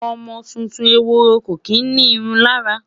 ọmọ tuntun ehoro kò kí ni irun lára